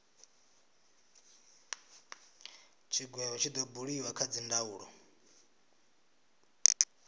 tshigwevho tshi do buliwa kha dzindaulo